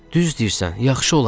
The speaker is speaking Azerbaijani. Düz deyirsən, yaxşı olardı.